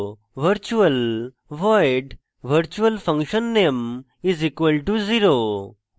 virtual void virtualfunname = 0;